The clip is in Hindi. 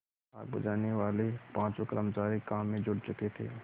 आग बुझानेवाले पाँचों कर्मचारी काम में जुट चुके थे